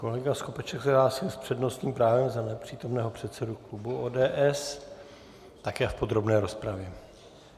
Kolega Skopeček se hlásí s přednostním právem za nepřítomného předsedu klubu ODS také v podrobné rozpravě.